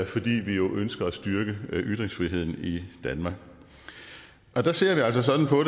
fordi vi jo ønsker at styrke ytringsfriheden i danmark og der ser vi altså sådan på